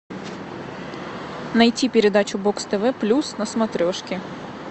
найти передачу бокс тв плюс на смотрешке